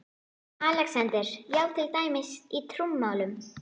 ALEXANDER: Já, til dæmis í trúmálum?